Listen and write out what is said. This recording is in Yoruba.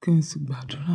kí n sì gbàdúrà.